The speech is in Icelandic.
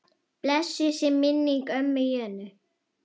Blessuð sé minning ömmu Jönu.